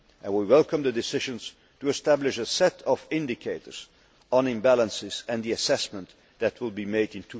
We welcome the decisions to establish a set of indicators on imbalances and the assessment that will made in